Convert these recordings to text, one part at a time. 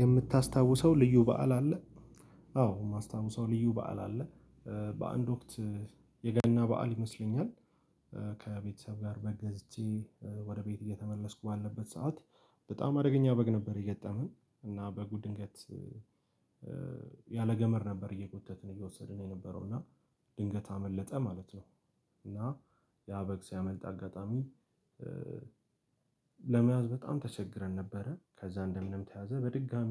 የምታስታውሰው ልዩ በዓል አለ። አዎ የማስታውሰው ልዩ በዓል አለ። በአንድ ወቅት የገና በዓል ይመስለኛል። ከቤተሰብ ጋር በግ ገዝቼ ወደ ቤት እየተመለስኩ ባለበት ሰዓት በጣም አደገኛ በግ ነበር የገጠመኝ እና በጉ ድንገት ያለ ገመድ ነበር እየጎተትን እየወሰድን የነበረው እና ድንገት አመለጠ ማለት ነው። እና ያ በግ ሲያመልጥ አጋጣሚ ለመያዝ በጣም ተቸግረን ነበረ። ከዛ እንደምንም ተያዘ በድጋሚ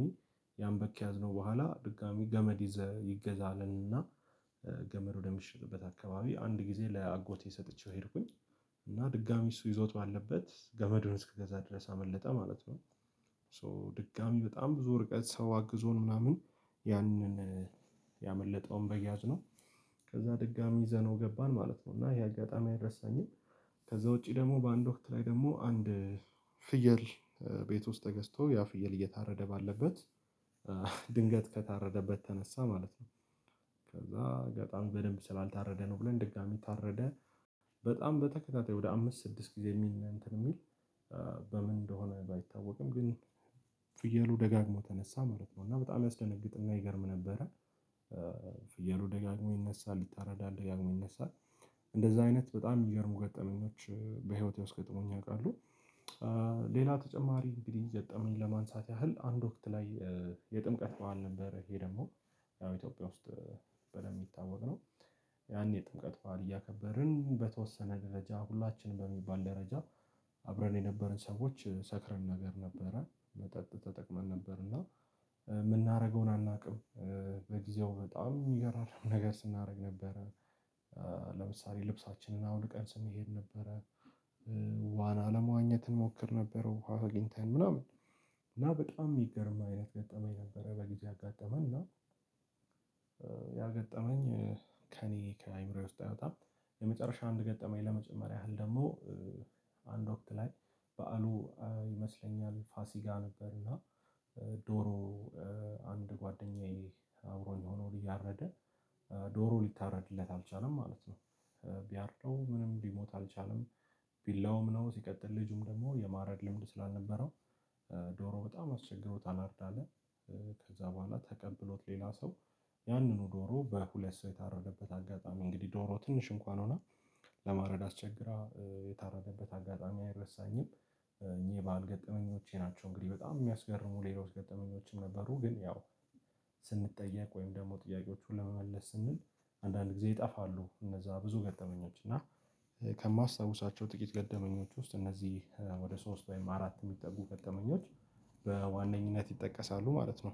ያን በግ ከያዝነው በኋላ ድጋሚ ገመድ ይዘህ ይገዛ አልንና። ገመድ ወደሚሸጥበት አካባቢ አንድ ጊዜ ለአጎቴ ሰጥቼው ሄድኩኝ እና ድጋሚ እሱ ይዞት ባለበት ገመዱን እስከገዛ ድረስ አመለጠ ማለት ነው። ሶ ድጋሚ በጣም ብዙ ርቀት ሰው አግዞ ነው ምናምን ያንን ያመለጠውን በግ ያዝነው ከዛ ድጋሚ ይዘነው ገባን ማለት ነው እና ይሄ አጋጣሚ አይረሳኝም። ከዛ ውጪ ደግሞ በአንድ ወቅት ላይ ደግሞ አንድ ፍየል ቤት ውስጥ ተገዝቶ ያ ፍየል እየታረደ ባለበት ድንገት ከታረደበት ተነሳ ማለት ነው። ከዛ በጣም በደንብ ስላልታረደ ነው ብለን ድጋሚ ታረደ በጣም በተከታታይ ወደ አምስት ስድስት ጊዜ የሚል ነው የሚል። በምን እንደሆነ ባይታወቅም ግን ፍየሉ ደጋግሞ ተነሳ ማለት ነው እና በጣም ያስደነግጥና ይገርም ነበረ። ፍየሉ ደጋግሞ ይነሳል ይታረዳል ደጋግሞ ይነሳል እንደዛ አይነት በጣም ይገርሙ ገጠመኞች በህይወቴ ውስጥ ገጥሞኝ ያውቃሉ። ሌላ ተጨማሪ እንግዲህ ገጠመኝ ለማንሳት ያህል አንድ ወቅት ላይ የጥምቀት በዓል ነበር ይሄ ደግሞ ያው ኢትዮጵያ ውስጥ በደንብ የሚታወቅ ነው። ያኔ ጥምቀት ባል እያከበርን በተወሰነ ደረጃ ሁላችንም በሚባል ደረጃ አብረን የነበርን ሰዎች ሰክረን ነገር ነበረ መጠጥ ተጠቅመን ነበር እና የምናደርገውን አናውቅም። በጊዜው በጣም የሚገርም ነገር ስናደርግ ነበረ። ለምሳሌ ልብሳችንን አውልቀን ስንሄድ ነበረ። ዋና ለመዋኘት እንሞክር ነበረ ውሃ አግኝተን ምናምን እና በጣም የሚገርም አይነት ገጠመኝ ነበር በግዜው ያጋጠመኝ እና ያገጠመኝ ከእኔ ከአእምሮዬ ውስጥ አይወጣም። የመጨረሻ አንድ ገጠመኝ ለመጨመር ያህል ደግሞ አንድ ወቅት ላይ በዓሉ ይመስለኛል ፋሲካ ነበርና። ዶሮ አንድ ጓደኛዬ አብሮ የኖረውን እያረደ ዶሮ ሊታረድለት አልቻለም ማለት ነው። ቢያርደው ምንም ሊሞት አልቻለም ቢላውም ነው ሲቀጥል ልጁም ደግሞ የማረድ ልምድ ስላልነበረው ዶሮ በጣም አስቸግሮ ታናድዳለህ ከዛ በኋላ ተቀብሎት ሌላ ሰው ያንኑ ዶሮ በሁለት ሰው የታረደበት አጋጣሚ እንግዲህ ዶሮ ትንሽ እንኳን ሆና ለማረድ አስቸግራ የታረደበት አጋጣሚ አይረሳኝም። እኚህ በዓል ገጠመኞቼ ናቸው። እንግዲህ በጣም የሚያስገርሙ ሌሎች ገጠመኞችም ነበሩ ግን ያው ስንጠየቅ ወይም ደግሞ ጥያቄዎቹን ለመመለስ ስንል አንዳንድ ጊዜ ይጠፋሉ እነዛ ብዙ ገጠመኞች እና ከማስታውሳቸው ጥቂት ገጠመኞች ውስጥ እነዚህ ወደ ሶስት ወይም አራት የሚጠጉ ገጠመኞች በዋነኝነት ይጠቀሳሉ ማለት ነው